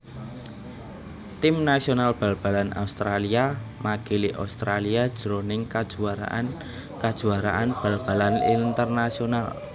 Tim nasional bal balan Australia makili Australia jroning kajuwaraan kajuwaraan bal balan internasional